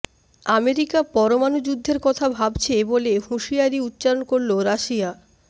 America পরমাণু যুদ্ধের কথা ভাবছে বলে হুঁশিয়ারি উচ্চারণ করল রাশিয়া